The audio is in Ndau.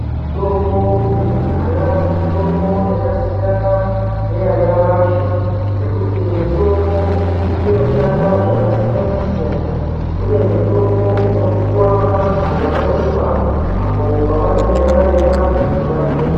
Mitombo yekudhaya mitombo yakasiyana neyanyamashi ngekuti mitombo iyi inoshanda zvakasiyana-siyana. Kune mitombo inopuwa vantu vanorumba apo pavanenge varemba kuti vagwinye.